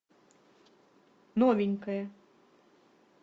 новенькая